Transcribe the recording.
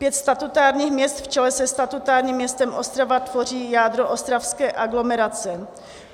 Pět statutárních měst v čele se statutárním městem Ostrava tvoří jádro ostravské aglomerace.